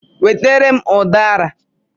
Wetara m udara!